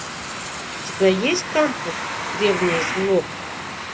у тебя есть крампус древнее зло